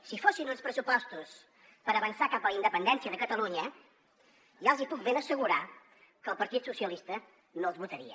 si fossin uns pressupostos per avançar cap a la independència de catalunya ja els hi puc ben assegurar que el partit socialista no els votaria